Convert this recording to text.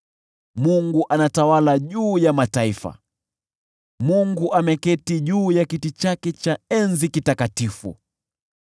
Mungu anatawala juu ya mataifa, Mungu ameketi juu ya kiti chake cha enzi kitakatifu.